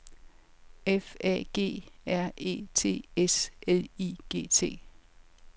F A G R E T S L I G T